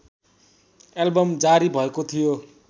album जारी भएको थियो